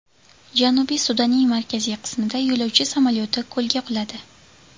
Janubiy Sudanning markaziy qismida yo‘lovchi samolyoti ko‘lga quladi.